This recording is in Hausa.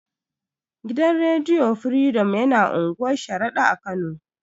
Gidan rediyo firidom yana unguwar sharaɗa a kano